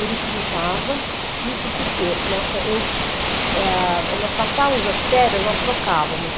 Ele pintava, isso porque, nossa, eu, ah, nós passávamos as férias, nós trocávamos.